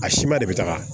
A si ma de bɛ taga